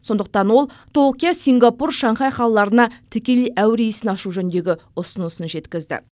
сондықтан ол токио сингапур шанхай қалаларына тікелей әуе рейсін ашу жөніндегі ұсынысын жеткізді